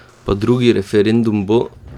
Pa drugi referendum bo?